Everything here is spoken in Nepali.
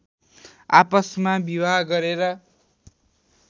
आपसमा विवाह गरेर